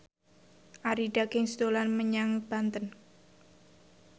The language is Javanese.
Arie Daginks dolan menyang Banten